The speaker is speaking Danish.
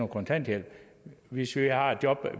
kontanthjælp hvis der er et job